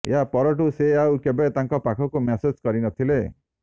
ଏହା ପରଠୁ ସେ ଆଉ କେବେ ତାଙ୍କ ପାଖକୁ ମ୍ୟାସେଜ କରିନଥିଲେ